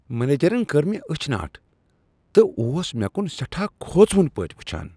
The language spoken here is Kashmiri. منیجرن كٔر مےٚ أچھ ناٹ تہٕ اوس مےٚ كُن سیٹھاہ كھوژوُن پٲٹھۍ وُچھان ۔